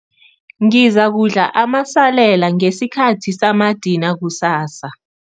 Ngizakudla amasalela ngesikhathi samadina kusasa.